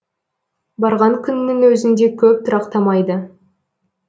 барған күннің өзінде көп тұрақтамайды